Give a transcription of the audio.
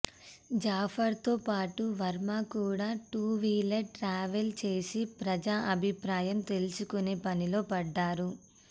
జాఫర్తో పాటు వర్మ కూడా టూ వీలర్పై ట్రావెల్ చేసి ప్రజా అభిప్రాయం తెలుసుకునే పనిలో పడ్డారు